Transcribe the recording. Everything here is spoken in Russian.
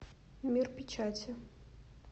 мир печати